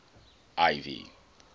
ivy